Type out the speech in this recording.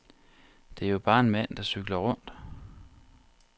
Det er jo bare en mand, der cykler rundt.